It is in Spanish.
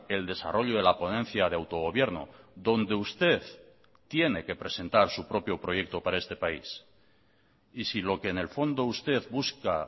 el desarrollo de la ponencia de autogobierno donde usted tiene que presentar su propio proyecto para este país y si lo que en el fondo usted busca